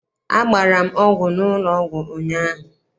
Agbara m ọgwụ n'ụlọ ọgwụ ụnyaahụ.